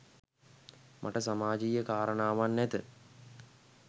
මට සමාජීය කාරණාවන් නැත.